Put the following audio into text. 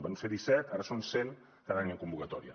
en van ser disset ara en són cent cada any en convocatòria